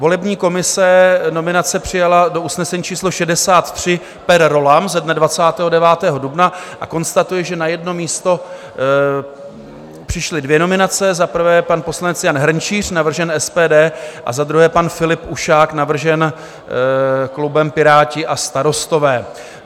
Volební komise nominace přijala do usnesení číslo 63 per rollam ze dne 29. dubna a konstatuji, že na jedno místo přišly dvě nominace, za prvé pan poslanec Jan Hrnčíř, navržen SPD, a za druhé pan Filip Ušák, navržen klubem Piráti a Starostové.